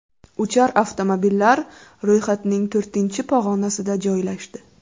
Uchar avtomobillar ro‘yxatning to‘rtinchi pog‘onasida joylashdi.